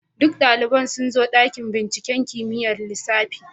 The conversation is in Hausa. Duk daliban sun zo dakin binciken kimiyyar lissafi.